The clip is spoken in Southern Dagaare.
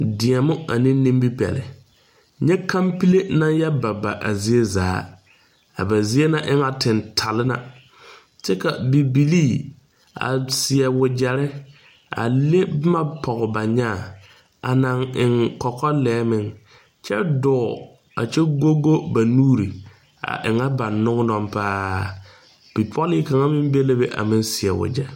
Neŋba tõɔnaa dɔɔ zeŋɛɛ la ka o daŋkpala ayi a biŋ o lomboreŋ o zeŋ la dakog zumɔzumɔ zuŋ kyɛ ville ville o gbɛre kaŋa bonpeɛɛle a de pare dakog kyoŋgoroŋ kaŋa zuŋ kyɛ paŋ taa o kɔmpiuta bondaanaa a kaara a kɔmpiuta zu a kɔmpiuta zu zaa e la suunee lɛ o die poɔ veɛlɛ la.